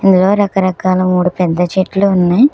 ఇందులో రకరకాల మూడు పెద్ద చెట్లు ఉన్నాయి.